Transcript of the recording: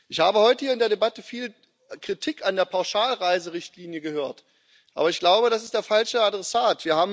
Ich habe heute hier in der Debatte viel Kritik an der Pauschalreiserichtlinie gehört, aber ich glaube, das ist der falsche Adressat.